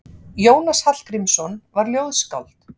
Jónas Hallgrímsson var ljóðskáld.